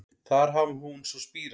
Þar hafi hún svo spírað